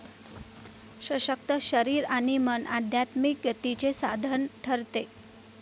सशक्त शरीर आणि मन आध्यात्मिक गतीचे साधन ठरते.